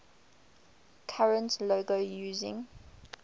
current logo using